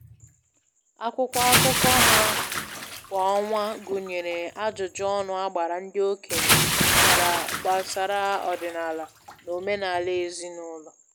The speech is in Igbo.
Akwụkwọ akụkọ ha kwa ọnwa gụnyere ajụjụ ọnụ a gbara ndị okenye gbara gbasara ọdịnala na omenala ezinụlọ